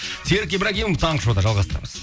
серік ибрагимов таңғы шоуда жалғастырамыз